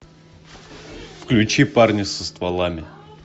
включи парни со стволами